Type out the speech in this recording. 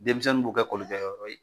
Denmisɛnninw b'o kɛ kolikɛyɔrɔ ye.